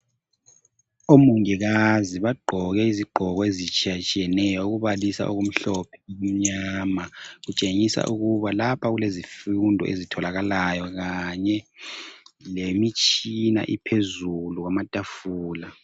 Umongikazi bagqoke izigqoko ezitshiyatshiyeneyo ukubalisa okumhlophe lokumnyama, kutshengisa ukuba lapha kulezifundo ezitholakalayo kanye lemitshina iphezulu kwamatafula.